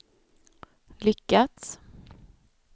lyckats